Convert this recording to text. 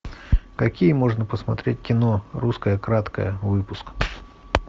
какие можно посмотреть кино русское краткое выпуск